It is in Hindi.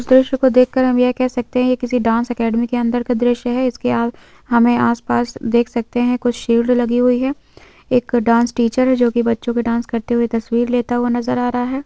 दृश्य को देखकर हम यह कह सकते हैं यह किसी डांस एकेडमी के अंदर का दृश्य है इसके आग हमे आसपास देख सकते हैं कुछ शील्ड लगी हुई है एक डांस टीचर जो कि बच्चों के डांस करते हुए तस्वीर लेता हुआ नजर आ रहा है।